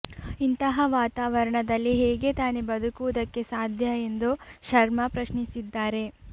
ಇಂತಹ ವಾತಾವರಣದಲ್ಲಿ ಹೇಗೆ ತಾನೆ ಬದುಕುವುದಕ್ಕೆ ಸಾಧ್ಯ ಎಂದು ಶರ್ಮಾ ಪ್ರಶ್ನಿಸಿದ್ದಾರೆ